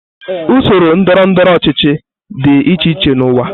Usoro ndọrọ ndọrọ ọchịchị dị iche iche n'ụwa.